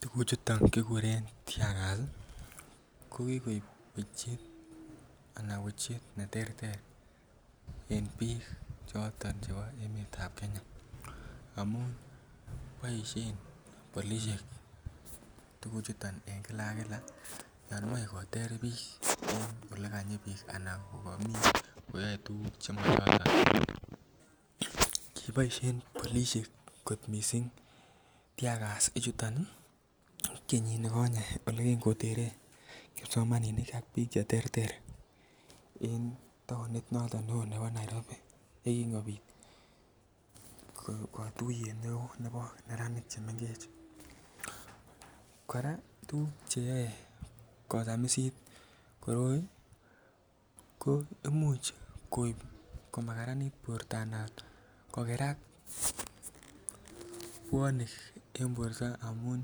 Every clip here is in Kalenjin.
Tuguchoto kiguren tear gas ko ki koib wechet ne terter en bik choton chebo emetab Kenya amun boisien polisiek tuguchoto en kila ak kila olon moche koter bik Anan olon komii bik koyoe tuguk Che mom choto kiboisien polisiek kot mising tuguchoto kenyinikonye Ole kiteren kipsomaninik ak bik Che terter en taonit noton nebo Nairobi ye kin kobit katuiyet neo nebo neranik Che mengech kora tuguk Che yoe kosamisit koroi ko Imuch koib komakaranit borto anan koker ak bwonik en borto amun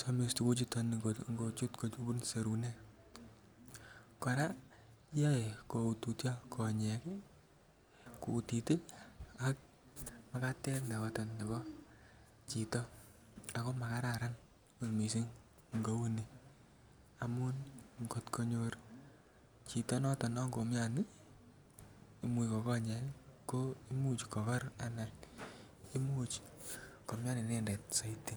somis tuguchoto ngochut kobun serunek kora koyoe koutotyo konyek ak Makatet ab chito ma kararan kouni amun ngo nyor chito nekomiondos konyek ko Imuch ko kor Imuch komian inendet soiti